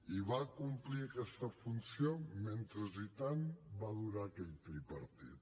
i va complir aquesta funció mentrestant va durar aquell tripartit